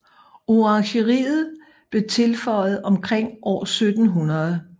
Orangeriet blev tilføjet omkring år 1700